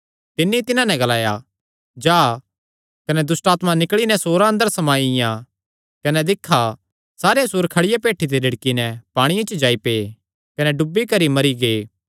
तिन्नी तिन्हां नैं ग्लाया जा कने दुष्टआत्मां निकल़ी नैं सूअरां अंदर समाईयां कने दिक्खा सारे सूअर खड़िया भेठी ते रिड़की नैं पांणिये च जाई पै कने डुबी करी मरी गै